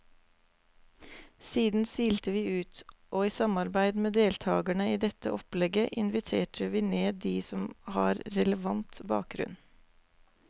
Siden silte vi ut, og i samarbeid med deltagerne i dette opplegget inviterte vi ned de som har relevant bakgrunn.